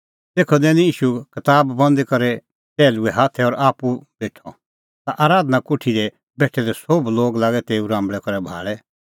तेखअ दैनी ईशू कताब बंद करी करै टैहलूए हाथै और आप्पू बेठअ ता आराधना कोठी दी बेठै दै सोभ लोग लागै तेऊ राम्बल़ै करै भाल़ै